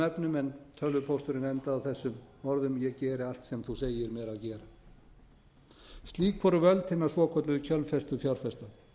efnum en tölvupósturinn endaði á þessum orðum ég geri allt sem þú segir mér að gera slík voru völd hinna svokölluðu kjölfestufjárfesta